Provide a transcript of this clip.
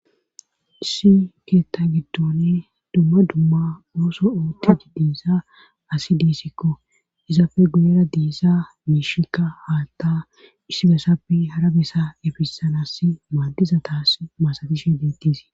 Issi keetta giddone dumma dumma ooso oottii diiza asi diisikko izaapfe guyera diza miishikka haatta issi besappe hara besa efisanaas maaddiza taas masatishe beettes